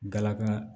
Dalakan